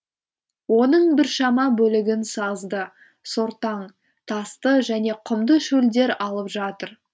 оның біршама бөлігін сазды сортаң тасты және құмды шөлдер алып жатыр